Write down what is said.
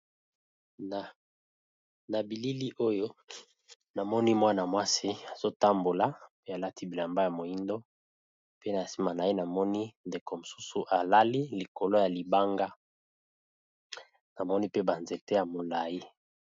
Na bilili oyo namoni mwana mwasi azo tambola pe alati bilamba ya moindo pe na sima naye namoni ndeko mosusu alali likolo ya libanga, namoni pe ba nzete ya molai.